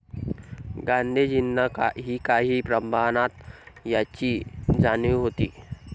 गांधीजींना ही काही प्रमाणात याची जाणीव होती.